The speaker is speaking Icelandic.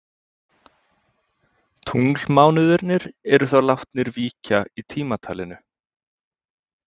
Tunglmánuðirnir eru þá látnir víkja í tímatalinu.